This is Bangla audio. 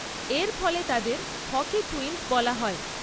এর ফলে তাদের 'হকি টুইনস' বলা হয়।